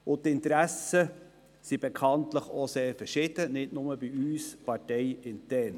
Die Interessen sind bekanntlich sehr unterschiedlich, nicht nur bei uns parteiintern.